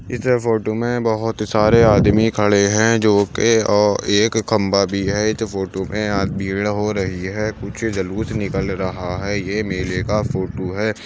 इस फोटो में बहुत सारे आदमी खड़े हैं जो की ओ एक खंबा भी है इस फोटो में भीड़ हो रही है कुछ जुलूस निकल रहा है। यह मेले का फोट है।